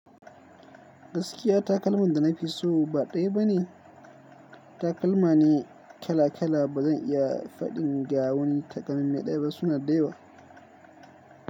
Gaskiya takalman da nafi so ba ɗaya ba ne, takalma ne kala kala. Ba zan iya faɗin gawan takalmi ɗaya ba, suna da yawa.